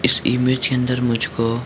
इस इमेज के अंदर मुझको --